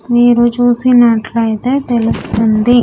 మీరు చూసినట్లయితే తెలుస్తుంది.